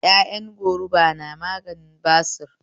Ƴaƴan goruba na maganin basir